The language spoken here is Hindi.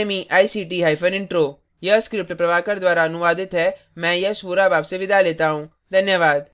यह स्क्रिप्ट प्रभाकर द्वारा अनुवादित है मैं यश वोरा अब आपसे विदा लेता हूँ